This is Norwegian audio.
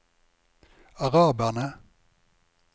araberne